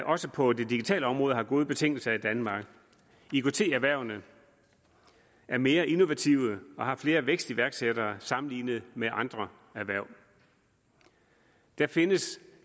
også på det digitale område har gode betingelser i danmark ikt erhvervene er mere innovative og har flere vækstiværksættere sammenlignet med andre erhverv der findes